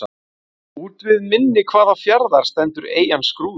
Úti við mynni hvaða fjarðar stendur eyjan Skrúður?